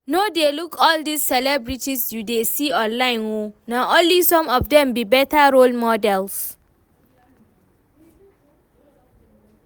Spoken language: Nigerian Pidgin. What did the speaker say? No dey look all dis celebrities you dey see online oo, na only some of dem be better role models